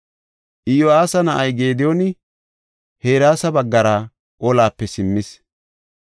Iyo7aasa na7ay Gediyooni Hereesa baggara olape simmis.